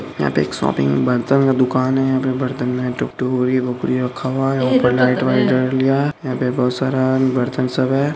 यहां पे एक शॉपिंग बर्तन का दुकान है। यहां पे बर्तन मे ऊपर लाइट वाइट जड़ लिया है यहां पे बोहोत सारा बर्तन सब है।